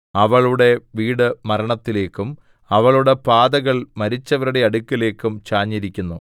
അവളുടെ വീട് മരണത്തിലേക്കും അവളുടെ പാതകൾ മരിച്ചവരുടെ അടുക്കലേക്കും ചാഞ്ഞിരിക്കുന്നു